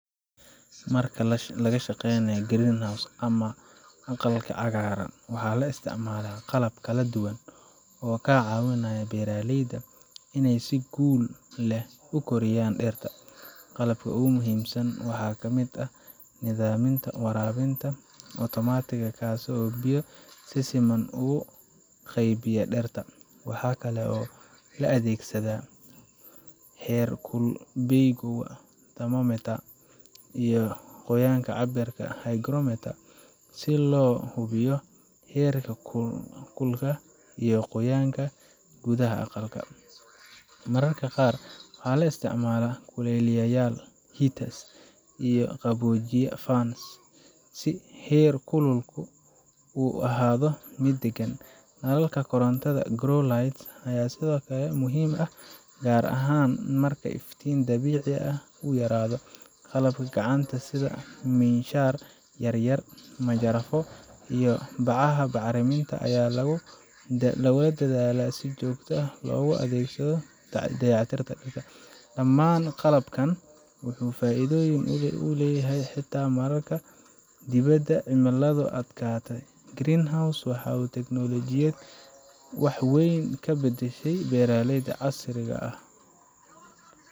Marka laga shaqeynayo greenhouse ama aqalka cagaaran, waxaa la isticmaalaa qalab kala duwan oo ka caawiya beeraleyda inay si guul leh u koriyaan dhirta. Qalabka ugu muhiimsan waxaa ka mid ah nidaamka waraabinta otomaatiga ah, kaas oo biyo si siman ugu qaybiya dhirta. Waxaa kale oo la adeegsadaa heerkulbeegyo thermometers iyo qoyaanka cabbira hygrometers si loo hubiyo heer-kulka iyo qoyaanka gudaha aqalka. Mararka qaar, waxaa la isticmaalaa kuleyliyeyaal heaters iyo qaboojiye fans[cs si heerkulku u ahaado mid deggan. Nalalka korontada grow lights ayaa sidoo kale muhiim ah, gaar ahaan marka iftiin dabiici ah uu yaraado. Qalabka gacanta sida miinshaar yar yar, majarafado, iyo bacaha bacriminta ayaa lagu dadaalaa in si joogto ah loogu adeegsado dayactirka dhirta. Dhammaan qalabkan wuxuu fududeeyaa shaqada beeraleyda, wuxuuna ka caawiyaa in ay helaan dalag caafimaad leh, tiro badan, oo tayo leh sanadka oo dhan, xitaa marka dibadda cimiladu adag tahay. Greenhouse ku waa tiknoolajiyad wax weyn ka beddeshay beeralayda casriga ah.